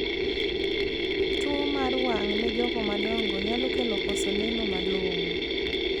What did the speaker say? Tuo mar wang' ne jogo madongo nyalo kelo koso neno malongo.